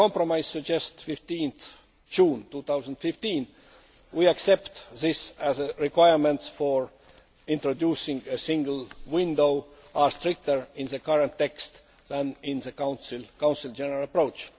The compromise suggests 15 June 2015. We accept that the requirements for introducing a single window are stricter in the current text than in the Council's general approach.